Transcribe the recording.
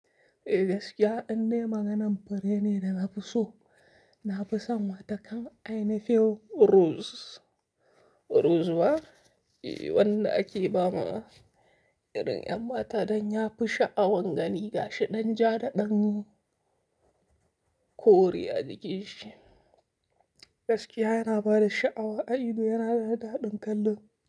Gaskiya indai maganan fure ne da na fi so. Na fi son watakan Ainafin rose rose ba? E, wanda ake ba ma irin 'yan mata don ya fi sha'awan gani ga shi ɗan ja da ɗan kore a jikin shi. Gaskiya yana ba da sha'awa, a ido yana da daɗin kallo.